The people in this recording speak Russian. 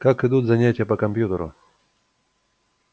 как идут занятия по компьютеру